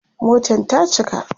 Motan ta cika